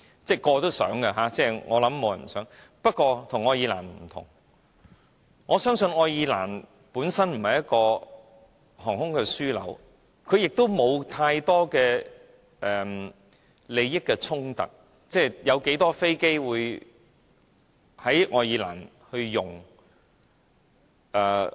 不過，我們與愛爾蘭不同的是，我相信愛爾蘭本身不是航空樞紐，沒有太多利益衝突，坦白說，有多少飛機會在愛爾蘭升降？